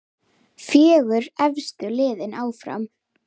Fjögur efstu liðin áfram.